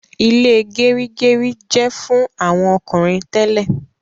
Ile gerigeri jẹ fún àwọn ọkùnrin tẹlẹ